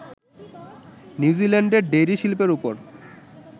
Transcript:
নিউজিল্যান্ডের ডেইরি শিল্পের ওপর